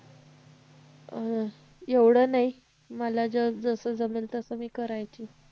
अं एवढं नाही मला जसं जमेल तसं मी करायची